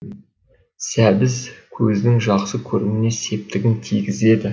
сәбіз көздің жақсы көруіне септігін тигізеді